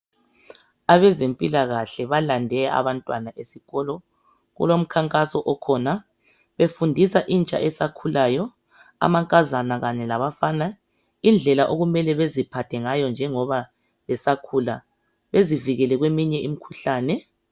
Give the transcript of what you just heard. Abezempilakahle balande abantwana esikolo kulomkhankaso okhona ifundisa intsha esakhulayo amankazana kanye labafana indlela okumele beziphathe ngayo injoba besakhula bezivikele kweminye imikhuhlane